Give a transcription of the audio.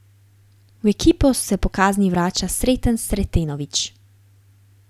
V ekipo se po kazni vrača Sreten Sretenović.